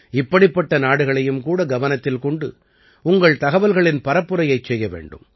இப்படிப்பட்ட நாடுகளையும் கூட கவனத்தில் கொண்டு உங்கள் தகவல்களின் பரப்புரையைச் செய்ய வேண்டும்